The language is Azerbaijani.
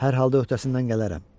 Hər halda öhdəsindən gələrəm.